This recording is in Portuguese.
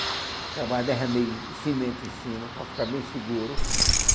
Acabar derramei cimento em cima, para ficar bem seguro.